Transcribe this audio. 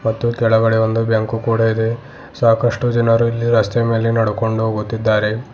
ಮತ್ತು ಕೆಳಗಡೆ ಒಂದು ಬ್ಯಾಂಕು ಕೂಡ ಇದೆ ಸಾಕಷ್ಟು ಜನರು ಇಲ್ಲಿ ರಸ್ತೆ ಮೇಲೆ ನಡ್ಕೊಂಡು ಹೋಗುತ್ತಿದ್ದಾರೆ.